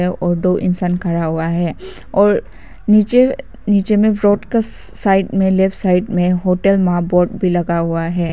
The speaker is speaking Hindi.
यहां और दो इंसान खड़ा हुआ है और नीचे नीचे में फ्लोर का साइड में लेफ्ट साइड में होटल वहां बोर्ड भी लगा हुआ है।